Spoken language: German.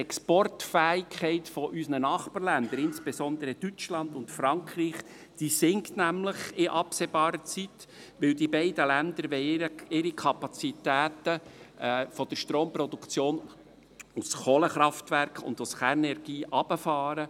Die Exportfähigkeit unserer Nachbarländer, insbesondere Deutschland und Frankreich, sinkt in absehbarer Zeit, weil die beiden Länder ihre Kapazitäten der Stromproduktion aus Kohlenkraftwerken und aus Kernenergie hinunterfahren.